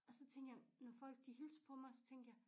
Og så tænke jeg når folk de hilste på mig så tænkte jeg